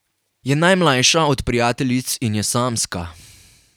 Je najmlajša od prijateljic in je samska.